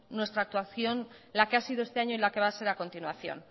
nuestra actuación la que ha sido este año y la que va a ser a continuación